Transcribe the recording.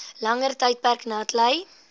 langer tydperk natlei